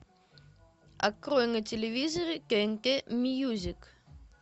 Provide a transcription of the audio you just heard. открой на телевизоре тнт мьюзик